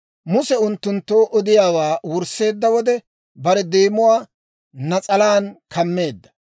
Muse unttunttoo odiyaawaa wursseedda wode, bare deemuwaa nas'alaan kammeedda.